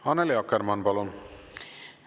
Annely Akkermann, palun!